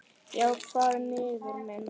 Já, hvað vinur minn?